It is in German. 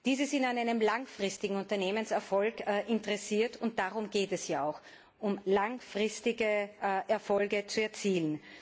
Diese sind an einem langfristigen Unternehmenserfolg interessiert, und darum geht es ja auch langfristige Erfolge zu erzielen.